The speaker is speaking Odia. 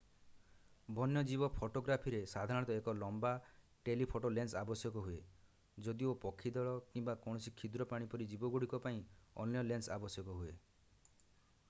ବନ୍ୟଜୀବ ଫଟୋଗ୍ରାଫିରେ ସାଧାରଣତଃ ଏକ ଲମ୍ବା ଟେଲିଫୋଟୋ ଲେନ୍ସ ଆବଶ୍ୟକ ହୁଏ ଯଦିଓ ପକ୍ଷୀ ଦଳ କିମ୍ବା କୌଣସି କ୍ଷୁଦ୍ର ପ୍ରାଣୀ ପରି ଜୀବଗୁଡ଼ିକ ପାଇଁ ଅନ୍ୟ ଲେନ୍ସ ଆବଶ୍ୟକ ହୁଏ